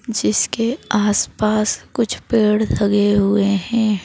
जिसके आसपास कुछ पेड़ लगे हुए हैं।